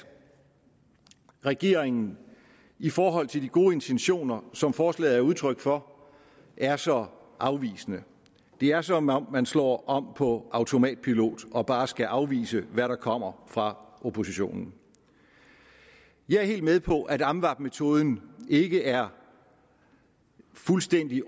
regeringen i forhold til de gode intentioner som forslaget er udtryk for er så afvisende det er som om man slår om på automatpilot og bare skal afvise hvad der kommer fra oppositionen jeg er helt med på at amvab metoden ikke er fuldstændig